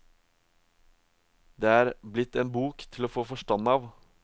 Det er blitt en bok til å få forstand av.